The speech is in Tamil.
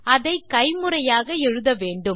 அதை கைமுறையாக எழுத வேண்டும்